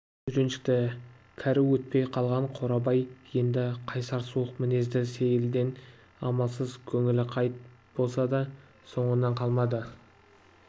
үйреншікті кәрі өтпей қалған қорабай енді қайсар суық мінезді сейілден амалсыз көңілі қайт болса да соңынан қалмады